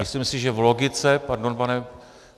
Myslím si, že v logice, pardon, pane...